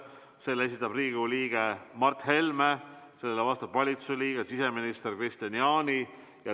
Selle esitab Riigikogu liige Mart Helme, vastab valitsuse liige siseminister Kristian Jaani.